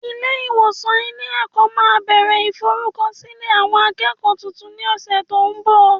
Ilé ìwòsàn ilé ẹ̀kọ́ máa bẹ̀rẹ̀ ìforúkọsílẹ̀ àwọn akẹ́kọ̀ọ́ tuntun ní ọ̀sẹ̀ tó ń bọ̀